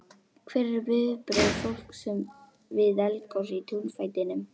Hver eru viðbrögð fólks við eldgosi í túnfætinum?